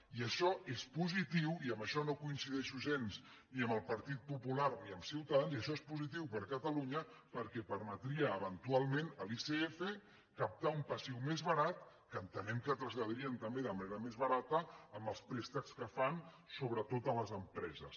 i això és positiu i en això no coincideixo gens ni amb el partit popular ni amb ciutadans per a catalunya perquè permetria eventualment a l’icf captar un passiu més barat que entenem que traslladarien també de manera més barata amb els préstecs que fan sobretot a les empreses